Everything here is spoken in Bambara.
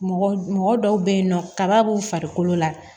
Mɔgɔ mɔgɔ dɔw bɛ yen nɔ kaba b'u farikolo la